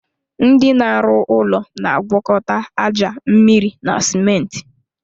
Ndị na arụ ụlọ na agwakọta aja, mmịrị na simenti